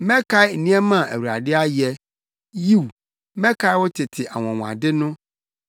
Mɛkae nneɛma a Awurade ayɛ; yiw, mɛkae wo tete anwonwade no.